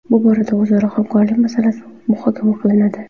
Bu borada o‘zaro hamkorlik masalalari muhokama qilinadi.